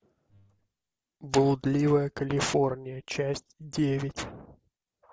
блудливая калифорния часть девять